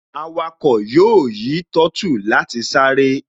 Awakọ̀ yóò yí finasi láti sáré